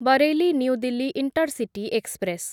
Bareilly new Delhi intercity express